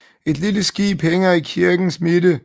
Et lille skib hænger i kirkens midte